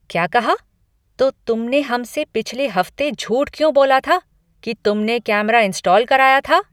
क्या कहा? तो तुमने हमसे पिछले हफ्ते झूठ क्यों बोला था कि तुमने कैमरा इंस्टॉल कराया था?